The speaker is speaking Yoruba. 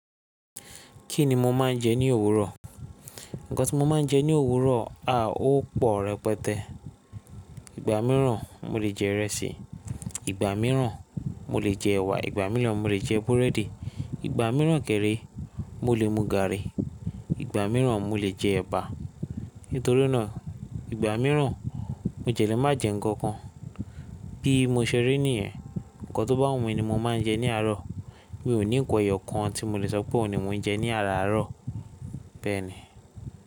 Kí ni mo máa ń jẹ ní òwúrọ̀? Ǹkan tí mo máa ń jẹ ní òwúrọ̀ a ó pọ̀ rẹpẹtẹ. Ìgbà mìíràn mo lè jẹ ìrẹsì, ìgbà mìíràn mo lè jẹ ẹ̀wà, ìgbà mìíràn mo lè jẹ búrẹ́dì, ìgbà mìíràn kẹré mo lè mu gààrí, ìgbà mìíràn mo lè jẹ ẹ̀bà. Nítorí nàa ìgbà mìíràn mo jẹ̀ lé má jẹ ǹkan kan. Bí mo ṣe rí nìyẹn, ǹkan tó bá wù mí ni mo máa ń jẹ ní àárọ̀. Mi ò ní nkan ẹ̀yọ̀ kan tí mo lè sọ pé òun ni mò ń jẹ ní aárarọ̀ bẹ́ẹ̀ni.